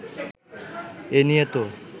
এ নিয়ে তো